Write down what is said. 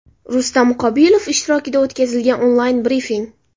Rustam Qobilov ishtirokida o‘tkazilgan onlayn brifing.